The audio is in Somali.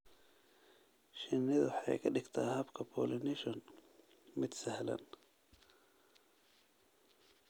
Shinnidu waxay ka dhigtaa habka pollination mid sahlan.